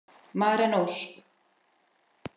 Maren Ósk.